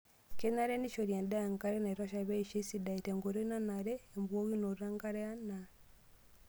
Kenare neishori endaa enkare naitosha pee eisho esidai. Tenkoitoi nanre embukokinoto enkare anaa